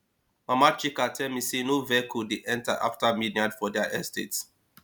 mama chika tell me say no vehicle dey enter after midnight for their estate